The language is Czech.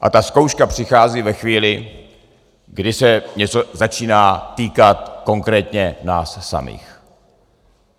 A ta zkouška přichází ve chvíli, kdy se něco začíná týkat konkrétně nás samých.